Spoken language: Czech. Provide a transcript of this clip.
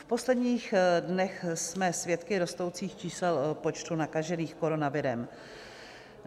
V posledních dnech jsme svědky rostoucích čísel počtu nakažených koronavirem.